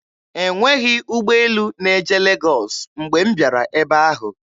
E nweghi ụgbọelu na-eje Legọs mgbe m bịara ebe ahụ.